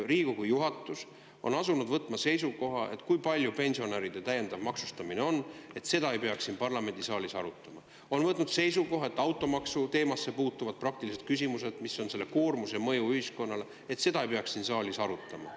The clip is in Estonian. Riigikogu juhatus on asunud seisukohale, et seda, kui palju pensionäride täiendav maksustamine on, ei peaks siin parlamendisaalis arutama, ning on võtnud seisukoha, et automaksu teemasse puutuvaid praktilisi küsimusi, mis on selle koormuse mõju ühiskonnale, ei peaks siin saalis arutama.